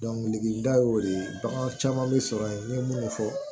degelida y'o de ye bagan caman bɛ sɔrɔ yen n ye minnu fɔ